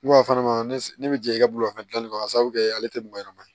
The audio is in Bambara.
Ne b'a fɔ ne bɛ jɛ i ka bolimafɛn dilanni kɔnɔ k'a sababu kɛ ale tɛ mɔgɔ ɲɛnɛma ye